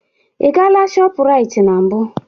Ị gaala shọpụraiti na mbụ?